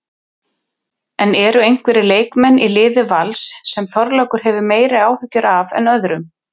En eru einhverjir leikmenn í liði Vals sem Þorlákur hefur meiri áhyggjur af en öðrum?